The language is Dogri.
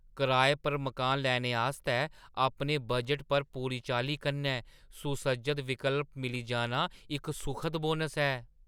कराए पर मकान लैने आस्तै अपने बजटै च पूरी चाल्ली कन्नै सुसज्जत विकल्प मिली जाना इक सुखद बोनस ऐ।